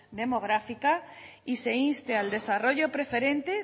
demográfica y se inste al desarrollo preferente